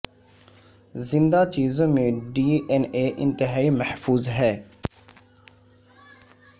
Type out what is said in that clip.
زندہ چیزوں میں ڈی این اے انتہائی محفوظ ہے